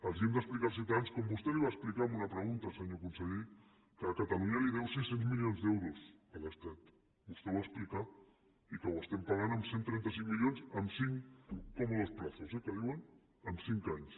els hem d’explicar als ciutadans com vostè va explicar en una pregunta senyor conseller que catalunya li deu sis cents milions d’euros a l’estat vostè ho va explicar i que ho estem pagant amb cent i trenta cinc milions en cinc cómodos plazos eh que en diuen en cinc anys